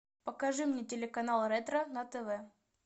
покажи мне телеканал ретро на тв